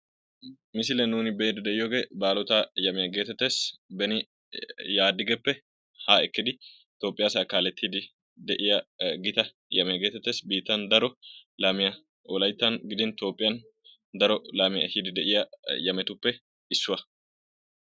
Ha misiliyan nuuni be'iiddi de'iyoogee, baalotaa yamiyaa geetettees. beni Yaadigeppe ha ekkidi Toophphiyaa asaa kaalettiiddi de'iyaa gita yamiyaa geetettees. Biittan daro laamiya Wolayttan gidin Toophphiyan daro laamiya ehiiddi de'iyaa yametuppe issuwa.